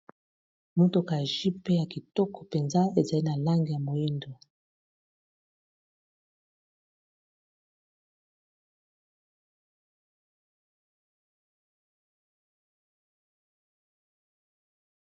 mutoka jipe ya kitoko penza ezali na langi ya moyindo